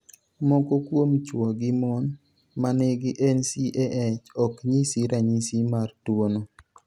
Moko kuom chwo gi mon ma nigi NCAH ok nyis ranyisi mar tuwono.